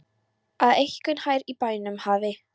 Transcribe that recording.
Að einhver hér í bænum hafi.